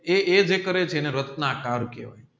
એ એજે કરે છે એને રત્નાકર કહેવાય